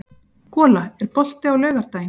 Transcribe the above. Gola, er bolti á laugardaginn?